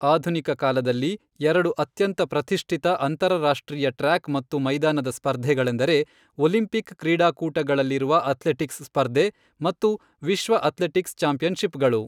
ಆಧುನಿಕ ಕಾಲದಲ್ಲಿ, ಎರಡು ಅತ್ಯಂತ ಪ್ರತಿಷ್ಠಿತ ಅಂತರರಾಷ್ಟ್ರೀಯ ಟ್ರ್ಯಾಕ್ ಮತ್ತು ಮೈದಾನದ ಸ್ಪರ್ಧೆಗಳೆಂದರೆ ಒಲಿಂಪಿಕ್ ಕ್ರೀಡಾಕೂಟಗಳಲ್ಲಿರುವ ಅಥ್ಲೆಟಿಕ್ಸ್ ಸ್ಪರ್ಧೆ ಮತ್ತು ವಿಶ್ವ ಅಥ್ಲೆಟಿಕ್ಸ್ ಚಾಂಪಿಯನ್ಶಿಪ್ಗಳು.